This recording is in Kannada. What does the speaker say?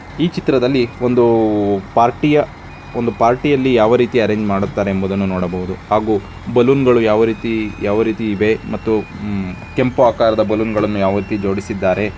ಈ ಚಿತ್ರದಲ್ಲಿ ಒಂದು ಪಾರ್ಟಿಯ ಒಂದು ಪಾರ್ಟಿಯಲ್ಲಿ ಯಾವ ರೀತಿ ಅರೆಂಜ್ ಮಾಡುತ್ತಾರೆ ಎಂಬುದನ್ನು ನೋಡಬಹುದು ಹಾಗು ಬಲೂನ್ ಗಳು ಯಾವ ರೀತಿ ಯಾವ ರೀತಿ ಇದೆ ಕೆಂಪು ಆಕಾರದ ಬಲೂನ್‌ಗಳನ್ನು ಯಾವ ರೀತಿ ಜೋಡಿಸಿದ್ದಾರೆ.